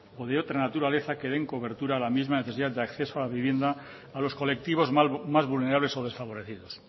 o de otra naturaleza que den cobertura a la misma necesidad de acceso a la vivienda a los colectivos más vulnerables o desfavorecidos